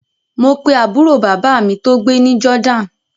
Mo pe àbúrò bàbá mi tó gbé ní Jordan